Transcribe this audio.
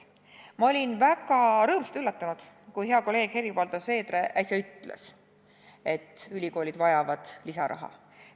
Ma olin väga rõõmsalt üllatunud, kui hea kolleeg Helir-Valdor Seeder äsja ütles, et ülikoolid vajavad lisaraha.